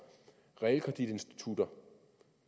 realkreditinstitutter